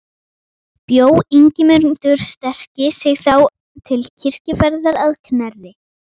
Bjó Ingimundur sterki sig þá til kirkjuferðar að Knerri.